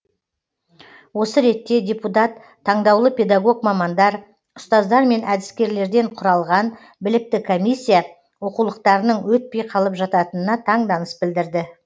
осы ретте депутат таңдаулы педагог мамандар ұстаздар мен әдіскерлерден құралған білікті комиссия оқулықтарының өтпей қалып жататынына таңданыс білдірді